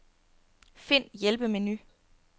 Find hjælpemenu.